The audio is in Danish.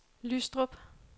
Lystrup